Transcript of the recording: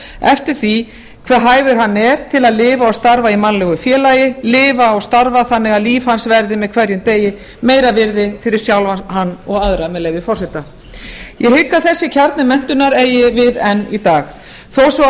eftir því hve hæfur hann er til að lifa og starfa í mannlegu félagi lifa og starfa þannig að líf hans verði með hverjum degi meira virði fyrir sjálfan hann og aðra með leyfi forseta ég hygg að þessi kjarni menntunar eigi við enn í dag þó svo að